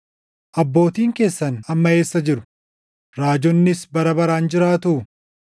Abbootiin keessan amma eessa jiru? Raajonnis bara baraan jiraatuu?